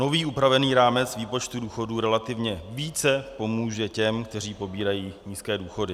Nový upravený rámec výpočtu důchodů relativně více pomůže těm, kteří pobírají nízké důchody.